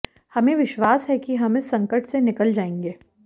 हमें विश्वास है कि हम इस संकट से निकल जाएंगे